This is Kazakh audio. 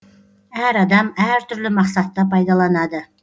әр адам әр түрлі мақсатта пайдаланады